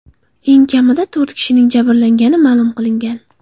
Eng kamida to‘rt kishining jabrlangani ma’lum qilingan.